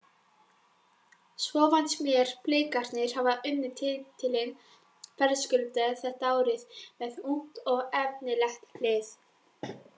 Svo fannst mér Blikarnir hafa unnið titilinn verðskuldað þetta árið með ungt og efnilegt lið.